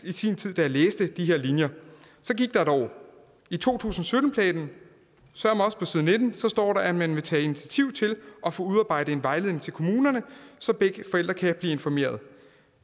i sin tid læste de her linjer så gik der et år i to tusind og sytten planen søreme også på side nitten står der at man vil tage initiativ til at få udarbejdet en vejledning til kommunerne så begge forældre kan blive informeret